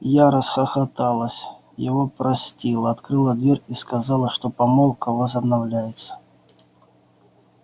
я расхохоталась его простила открыла дверь и сказала что помолвка возобновляется